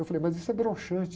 Eu falei, mas isso é broxante.